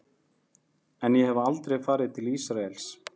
En ég hef aldrei farið til Ísraels.